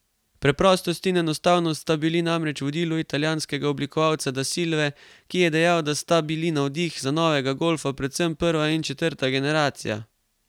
Preprostost in enostavnost sta bili namreč vodilo italijanskega oblikovalca Da Silve, ki dejal, da sta bili navdih za novega golfa predvsem prva in četrta generacija.